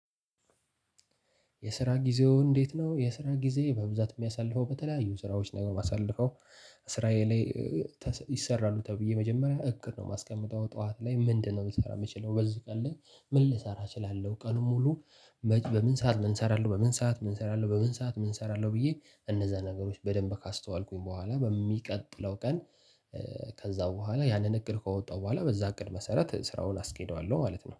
የስራ ጊዜው እንዴት? ነው የስራ ጊዜ በብዛት የሚያሳልፈው በተለያዩ ስራዎች ላይ ነው ማሳልፈው። ስራዬ ላይ ይሰራሉ ተብዬ መጀመሪያ እቅድነው የማስቀምጠው ጠዋት ላይ ምንድነው ልሰራ የምችለው በዚህ ቀን ላይ? ምን ልሰራ እችላለው ቀኑን ሙሉ። በምን ሰዓት ምን እሰራለሁ በምን ሰዓት ምን እሰራለሁ በምን ሰዓት ምን እሰራለሁ ብዬ እነዛ ነገሮች በደንብ ካስተዋልኩኝ በኋላ በሚቀጥለው ቀን። ከዛ በኋላ ያንን እቅድ ከወጣሁ በኋላ በዛ እቅድ መሰረት ስራውን አስኬደዋለሁ ማለት ነው